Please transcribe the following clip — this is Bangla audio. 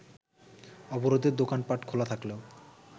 অবরোধে দোকানপাট খোলা থাকলেও